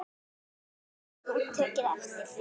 Hefur þú tekið eftir því?